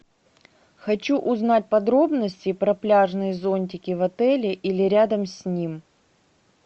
хочу узнать подробности про пляжные зонтики в отеле или рядом с ним